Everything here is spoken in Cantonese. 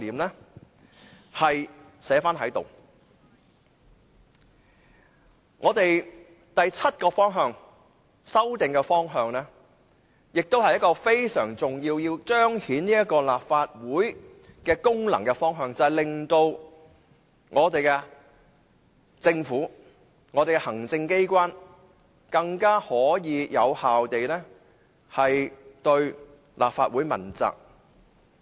我們的第七項修訂的方向非常重要，是要彰顯立法會功能，令政府和行政機關能夠更有效地對立法會問責。